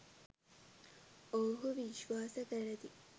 ඔවුහු විශ්වාස කරති.